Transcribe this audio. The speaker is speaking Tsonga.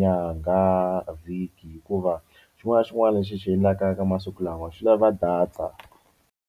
nyangha, vhiki hikuva xin'wana na xin'wana lexi hi xi endlaka ka masiku lawa swi lava data.